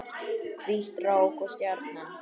Hvít rák og stjarna